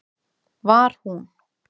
Var hún